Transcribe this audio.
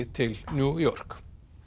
til New York